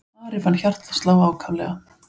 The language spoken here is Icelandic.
Ari fann hjartað slá ákaflega.